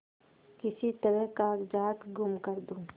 किसी तरह कागजात गुम कर दूँ